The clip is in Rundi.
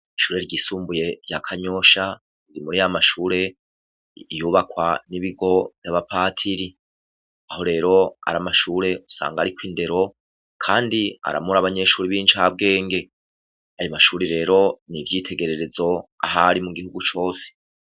Ishure ryisumbuye rya kanyosha riri muri ya mashure yubakwa n'ibigo vy'abapatiri aho rero ari amashure usanga ari ko indero kandi aramura abanyeshuri bicabwenge ayo mashuri rero ni ibyitegererezo ahari mu gihugu cose.